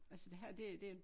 Altså det her det det